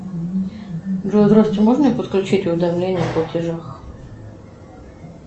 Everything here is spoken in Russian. джой здравствуйте можно мне подключить уведомление о платежах